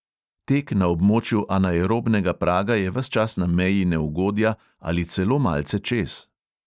Tek na območju anaerobnega praga je ves čas na meji neugodja ali celo malce čez.